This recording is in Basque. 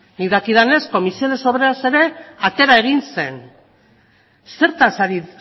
nik dakidanez comisiones obreras ere atera egin zen zertaz ari